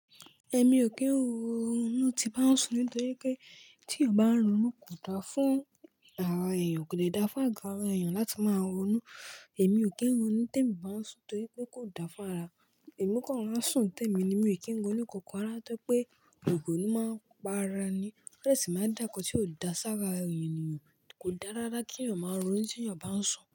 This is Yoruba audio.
Ẹ̀mi ò kí ń ronú tí bá ń sùn nítorí pé tí eyan bá ń ronú kò da fún ara èèyàn, kò de da fún àgo ara èèyàn láti máa ronú. Ẹ̀mi ò kí ń ronú tí ẹ̀mi bá ń sùn torí pé kò da fún ara. Ẹ̀mi kan rora n sùn tẹ́mi ni, èmi ò kí ń ronú kankan rara tọri pé ironu máa ń pa ara ni. Ó de sì máa dá nkan tí ò da s'ára ènìyàn, kò dáa rara kí ènìyàn máa ronú tí ènìyàn bá ń sùn.